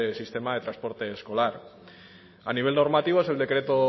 sistema de transporte escolar a nivel normativo es el decreto